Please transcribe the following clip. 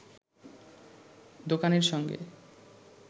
দোকানির সঙ্গে